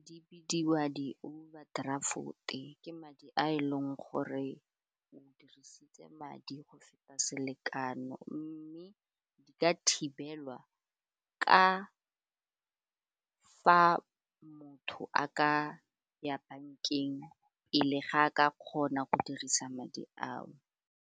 Di bidiwa di-overdraft-e ke madi a e leng gore o dirisitse madi go feta selekano mme di ka thibelwa ka fa motho a ka ya bankeng e le ga a ka kgona go dirisa madi ao.